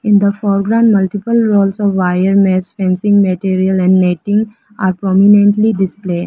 In the foreground multiple roles of wire nest fencing material and netting are prominently displayed.